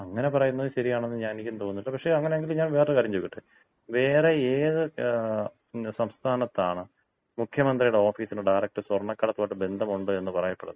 അങ്ങനെ പറയുന്നത് ശരിയാണെന്ന് ഞാൻ എനിക്കും തോന്നുന്നില്ല. പക്ഷേ അങ്ങനെ എങ്കിൽ ഞാൻ വേറൊരു കാര്യം ചോദിക്കട്ടെ? വേറെ ഏത് സംസ്ഥാനത്താണ് മുഖ്യമന്ത്രിയുടെ ഓഫീസിന് ഡയറക്റ്റ് സ്വർണ കടത്തുമായിട്ട് ബന്ധമുണ്ട് എന്ന് പറയപ്പെടുന്നത്?